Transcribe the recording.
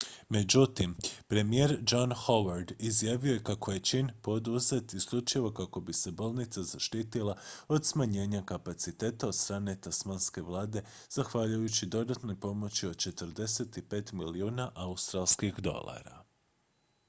međutim premijer john howard izjavio je kako je čin poduzet isključivo kako bi se bolnica zaštitila od smanjenja kapaciteta od strane tasmanske vlade zahvaljujući dodatnoj pomoći od 45 milijuna australskih dolara